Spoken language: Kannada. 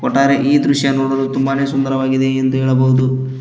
ಒಟ್ಟಾರೆ ಈ ದೃಶ್ಯ ನೋಡಲು ತುಂಬಾನೇ ಸುಂದರವಾಗಿದೆ ಎಂದು ಹೇಳಬಹುದು.